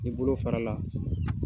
Ni bolo fara la.